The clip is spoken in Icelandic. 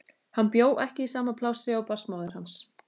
Hann bjó ekki í sama plássi og barnsmóðir hans.